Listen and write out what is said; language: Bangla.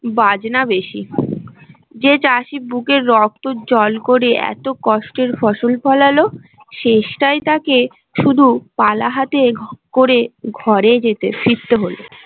বাজনা বেশি যে চাষী বুকের রক্ত জল করে এত কষ্টের ফসল ফলালো শেষ টাই তাকে শুধু পালাহাতে করে ঘরে যেতে ফিরতে হলো